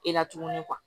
E la tuguni